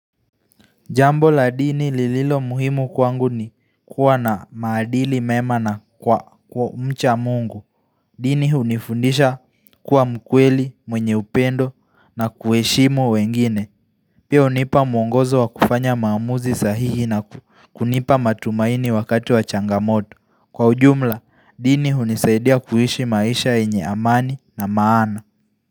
Jambo la dini lililo muhimu kwangu ni kuwa na maadili mema na kwa umcha mungu. Dini hunifundisha kuwa mkweli, mwenye upendo na kuheshimu wengine. Pia unipa mwongozo wa kufanya maamuzi sahihi na kunipa matumaini wakati wa changamoto. Kwa ujumla, dini hunisaidia kuhishi maisha enye amani na maana.